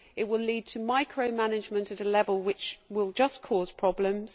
it will lead to micro management at a level which will just cause problems.